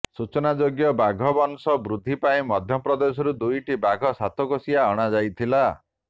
ସୂଚନାଯୋଗ୍ୟ ବାଘ ବଂଶ ବୃଦ୍ଧି ପାଇଁ ମଧ୍ୟପ୍ରଦେଶରୁ ଦୁଇଟି ବାଘ ସାତକୋଶିଆ ଅଣାଯାଇଥିଲା